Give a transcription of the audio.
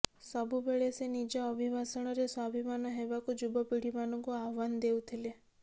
ସବୁବେଳେ ସେ ନିଜ ଅଭିଭାଷଣରେ ସ୍ୱାଭିମାନ ହେବାକୁ ଯୁବପୀଡ଼ିମାନଙ୍କୁ ଆହ୍ୱାନ ଦେଉଥିଲେ